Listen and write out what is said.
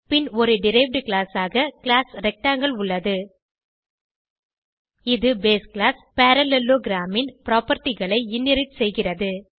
பின் ஒரு derived class ஆக class rectangle உள்ளது இது பேஸ் கிளாஸ் பரல்லேலோகிராம் ன் propertyகளை இன்ஹெரிட் செய்கிறது